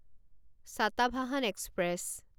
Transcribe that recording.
Satavahana express